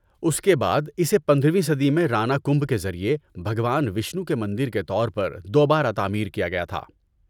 ‏اس کے بعد اسے پندرہ ویں صدی میں رانا کمبھا کے ذریعہ بھگوان وشنو کے مندر کے طور پر دوبارہ تعمیر کیا گیا تھا